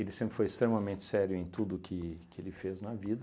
Ele sempre foi extremamente sério em tudo que que ele fez na vida.